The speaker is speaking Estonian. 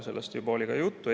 Sellest juba oli juttu.